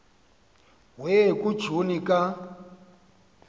we kujuni ka